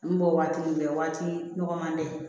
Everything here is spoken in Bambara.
N bɔ waati min bɛ waati nɔgɔman dɛ